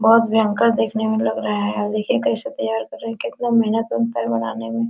बहुत भयंकर देखने में लग रहा है देखिए कैसे तैयार कर रहा है कितना मेहनत लगता है बनाने में।